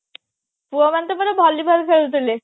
ପୁଅ ମାନେ ତ ପୁରା volleyball ଖେଳୁଥିଲେ